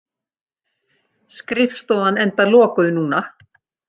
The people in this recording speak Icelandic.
Skrifstofan enda lokuð núna.